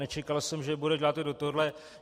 Nečekal jsem, že bude dělat i do tohohle.